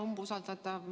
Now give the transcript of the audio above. Hea umbusaldatav!